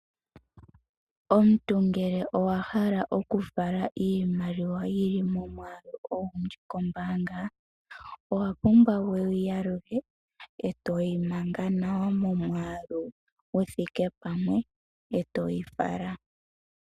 Omuntu ngele owa hala oku fala iimaliwa yili momwaalu ogundji kombaanga, owa pumbwa wuyi yalulule eetoyi manga nawa momwaalu guthike pamwe eetoyi fala.